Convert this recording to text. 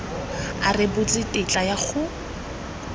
a rebotse tetla ya go